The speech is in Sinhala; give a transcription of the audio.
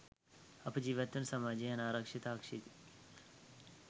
අප ජීවත්වන සමාජයේ අනාරක්‌ෂිත අශික්‌ෂිත